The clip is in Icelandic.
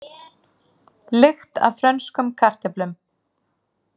Lykt af frönskum kartöflum